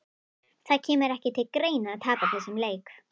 Það kemur ekki til greina að tapa þessum leik!